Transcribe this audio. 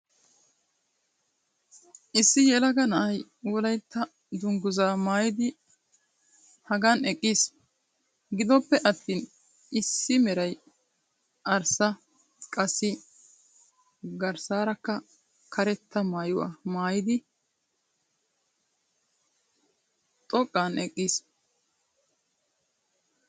issi yelaga na'ay wolaytta danguzzaa maayidi hagan eqqiis. gidoppe attin assi meray arssa qassi garsaarakka karetta maayuwa maayiddi xoqqana eqqiis.